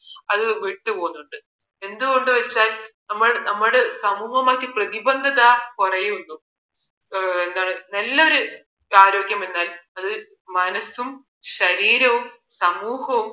അത് വിട്ടു പോകുന്നുണ്ട് എന്ത് കൊണ്ട് വച്ചാൽ നമ്മൾ നമ്മുടെ സമൂഹമായി പ്രതിബന്ദത കുറയുന്നു എന്താണ് നല്ലൊരു ആരോഗ്യമെന്നാൽ മനസ്സും ശരീരവും സമൂഹവും